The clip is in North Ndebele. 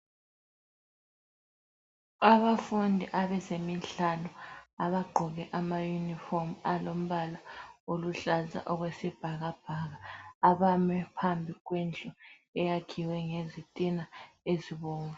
Abafundi abezemidlalo abagqoke amayunifomu alombala oluhlaza okwesibhakabhaka abame phambi kwendlu eyakhiwe ngezitina ezibomvu.